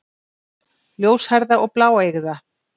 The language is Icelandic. Ljóshærða og bláeygða.